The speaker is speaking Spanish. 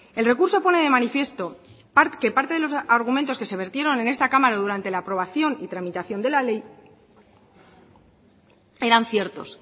el recurso pone de manifiesto que parte de los argumentos que se vertieron en esta cámara durante la aprobación y tramitación de la ley eran ciertos